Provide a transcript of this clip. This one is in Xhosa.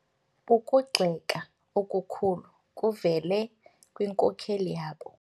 Ukugxeka okukhulu kuvele kwinkokeli yabo.